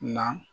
Na